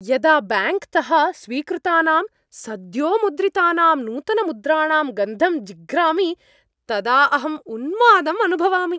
यदा ब्याङ्क्तः स्वीकृतानां सद्योमुद्रितानां नूतनमुद्राणां गन्धं जिघ्रामि तदा अहं उन्मादं अनुभवामि।